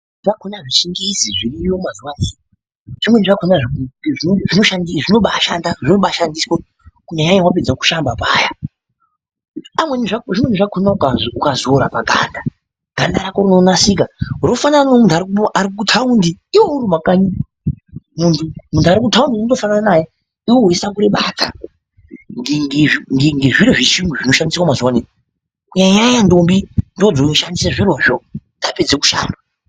....zvakona zvizhinjisi zviriyo mazuvano zvimweni zvakona zvinobaashanda, zvinobaashandiswa kunyanyanya wapedza kushamba paya. Zvimweni zvakona ukazora paganda, ganda rako rinonasika rofanana nomuntu arikutaundi, iwewe urimumakanyi. Muntu arikutaundi unotofanana naye iwewe weisakure badza, ngezviro zvechiyungu zvinoshandiswe mazuvano, kunyanyanya ndombi ndoodzinoshandise zvirozvo, dzapedze kushamba.